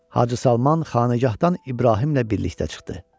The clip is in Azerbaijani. Hacı Salman xanəgahdan İbrahimlə birlikdə çıxdı.